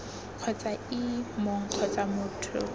kgotsa ii mong kgotsa motho